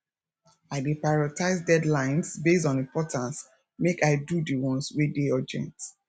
i dey prioritize deadlines based on importance make i do di ones wey dey urgent